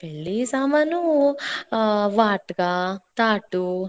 ಬೆಳ್ಳಿ ಸಾಮಾನೂ ಹಾ, ವಾಟ್ಗಾ, ತಾಟು,